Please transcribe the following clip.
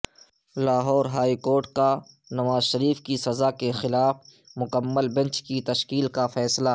Lahore high court کا نواز شریف کی سزا کے خلاف مکمل بنچ کی تشکیل کا فیصلہ